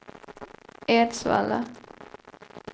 Edsvalla